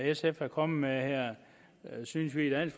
sf er kommet med her synes vi da i